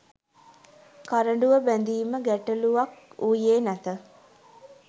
කරඬුව බැඳීම ගැටලූවක් වූයේ නැත